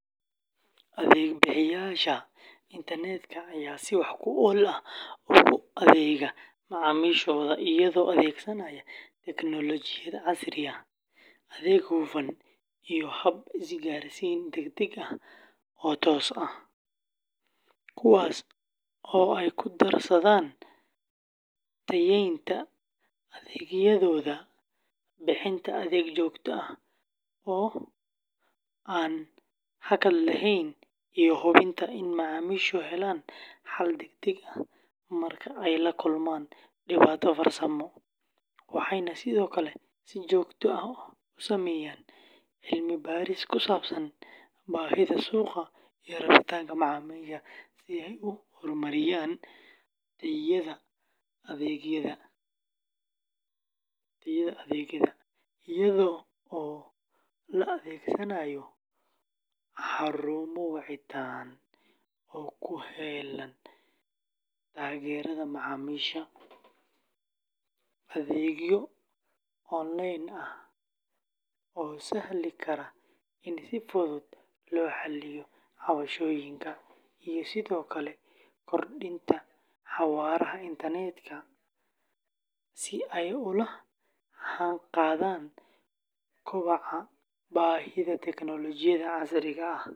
Adeeg bixiyeyaasha internetka ayaa si wax ku ool ah ugu adeega macaamiishooda iyagoo adeegsanaya tignoolajiyad casri ah, adeeg hufan, iyo hab isgaarsiin degdeg ah oo toos ah, kuwaas oo ay ku darsadaan tayeynta adeegyadooda, bixinta adeeg joogto ah oo aan hakad lahayn, iyo hubinta in macaamiishu helaan xal degdeg ah marka ay la kulmaan dhibaato farsamo, waxayna sidoo kale si joogto ah u sameeyaan cilmi baaris ku saabsan baahida suuqa iyo rabitaanka macaamiisha si ay u horumariyaan tayada adeegyada, iyadoo la adeegsanayo xarumo wacitaan oo u heellan taageerada macaamiisha, adeegyo online ah oo sahli kara in si fudud loo xalliyo cabashooyinka, iyo sidoo kale kordhinta xawaaraha internetka si ay ula jaanqaadaan kobaca baahida tignoolajiyada casriga ah.